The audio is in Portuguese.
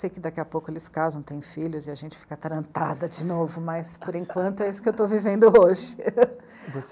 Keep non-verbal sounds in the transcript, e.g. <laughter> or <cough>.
Sei que daqui a pouco eles casam, têm filhos, e a gente fica atarantada de novo, mas, por enquanto, é isso que eu estou vivendo hoje. <laughs> Você...